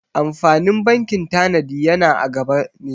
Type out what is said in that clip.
Amfanin bankin tanadi yana a gaba ne.